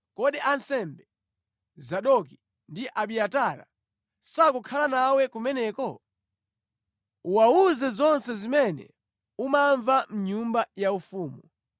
Kodi ansembe, Zadoki ndi Abiatara, sakukhala nawe kumeneko? Ukawawuze zonse zimene umamva mʼnyumba yaufumu.